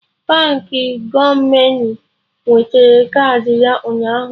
Baankị Gomoney wetara kaadị ya ụnyaahụ